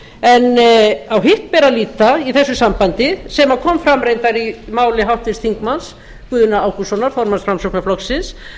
en á hitt ber að líta í þessu sambandi sem kom reyndar fram í máli háttvirts þingmanns guðna ágústssonar formanns framsóknarflokksins